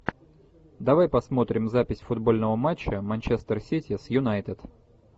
давай посмотрим запись футбольного матча манчестер сити с юнайтед